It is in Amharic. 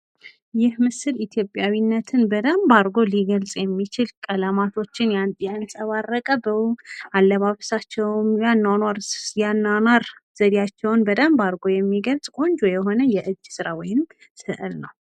ይህ ምስል ኢትዮጵያዊነትን በደንብ አድርጎ ሊገልጽ የሚችል ቀለማቶችን ያንጸባረቀ አለባበሳቸውን የአኗኗር ዘይቤያቸውን በደንብ አድርጎ የሚገልጽ ቆንጆ የሆነ የእጅ ስራ ወይም ስዕል ነው።